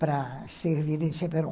para servir em Cheperon.